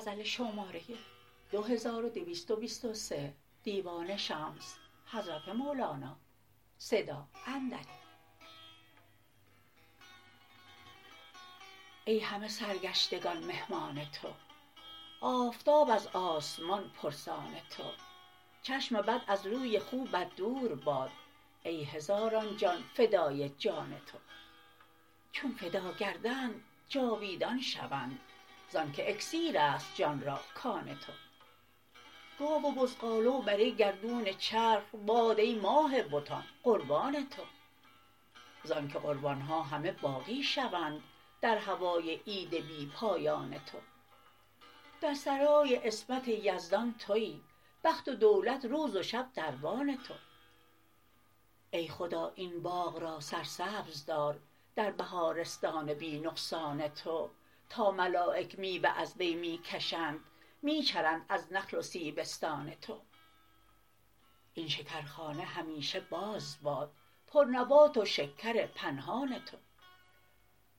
ای همه سرگشتگان مهمان تو آفتاب از آسمان پرسان تو چشم بد از روی خوبت دور باد ای هزاران جان فدای جان تو چون فدا گردند جاویدان شوند ز آنک اکسیر است جان را کان تو گاو و بزغاله و بره گردون چرخ باد ای ماه بتان قربان تو ز آنک قربان ها همه باقی شوند در هوای عید بی پایان تو در سرای عصمت یزدان توی بخت و دولت روز و شب دربان تو ای خدا این باغ را سرسبز دار در بهارستان بی نقصان تو تا ملایک میوه از وی می کشند می چرند از نخل و سیبستان تو این شکرخانه همیشه باز باد پرنبات و شکر پنهان تو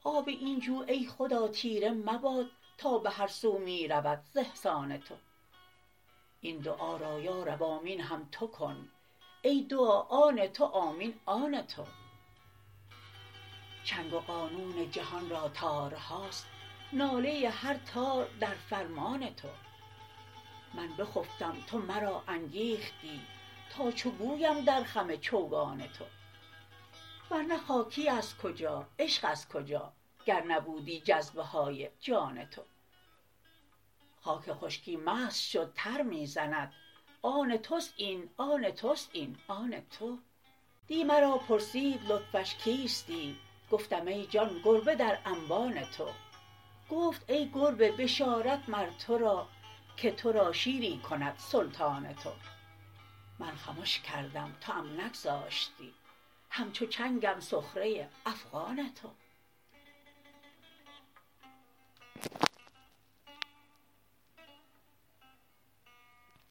آب این جو ای خدا تیره مباد تا به هر سو می رود ز احسان تو این دعا را یا رب آمین هم تو کن ای دعا آن تو آمین آن تو چنگ و قانون جهان را تارهاست ناله هر تار در فرمان تو من بخفتم تو مرا انگیختی تا چو گویم در خم چوگان تو ور نه خاکی از کجا عشق از کجا گر نبودی جذبه های جان تو خاک خشکی مست شد تر می زند آن توست این آن توست این آن تو دی مرا پرسید لطفش کیستی گفتم ای جان گربه در انبان تو گفت ای گربه بشارت مر تو را که تو را شیری کند سلطان تو من خمش کردم توام نگذاشتی همچو چنگم سخره افغان تو